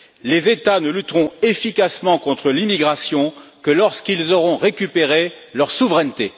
Les États ne lutteront efficacement contre l'immigration que lorsqu'ils auront récupéré leur souveraineté.